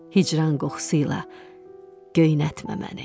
Hicran qoxusuyla göynətmə məni.